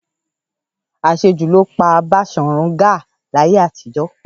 Àṣejù ló pa Baṣòrun Gáà láyé àtijọ́.